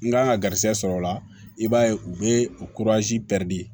N kan ka garizɛgɛ sɔrɔ o la i b'a ye u bɛ u